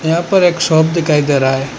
यहां पर एक शॉप दिखाई दे रहा है।